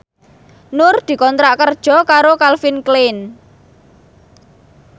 Nur dikontrak kerja karo Calvin Klein